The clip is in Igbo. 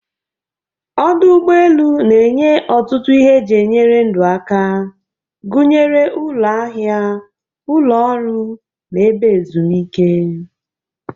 Ọdụ ụgbọ elu na-enye ọtụtụ ihe eji enyere ndụ aka, gụnyere ụlọ ahịa, ụlọ nri, na ebe ezumike.